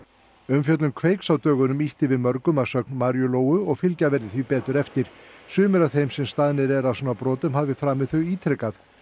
umfjöllun Kveiks á dögunum ýtti við mörgum að sögn Maríu Lóu og fylgja verði því betur eftir sumir af þeim sem staðnir eru að svona brotum hafa framið þau ítrekað